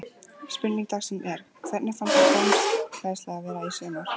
Spurning dagsins er: Hvernig fannst þér dómgæslan vera í sumar?